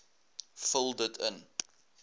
vul dit in